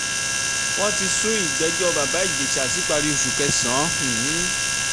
wọ́n ti sún ìgbẹ́jọ́ bàbá ìjẹsà síparí oṣù um kẹsàn